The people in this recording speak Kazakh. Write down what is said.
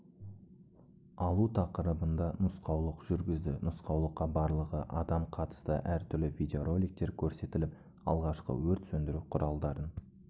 алу тақырыбында нұсқаулық жүргізді нұсқаулыққа барлығы адам қатысты әртүрлі видеороликтер көрсетіліп алғашқы өрт сөндіру құралдарын